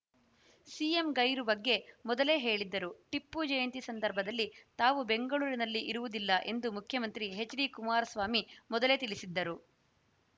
CM ಗೈರು ಬಗ್ಗೆ ಮೊದಲೇ ಹೇಳಿದ್ದರು ಟಿಪ್ಪು ಜಯಂತಿ ಸಂದರ್ಭದಲ್ಲಿ ತಾವು ಬೆಂಗಳೂರಿನಲ್ಲಿ ಇರುವುದಿಲ್ಲ ಎಂದು ಮುಖ್ಯಮಂತ್ರಿ ಎಚ್‌ಡಿಕುಮಾರಸ್ವಾಮಿ ಮೊದಲೇ ತಿಳಿಸಿದ್ದರು